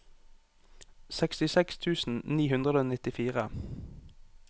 sekstiseks tusen ni hundre og nittifire